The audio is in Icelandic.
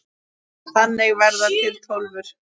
Þannig verða til Tólfur.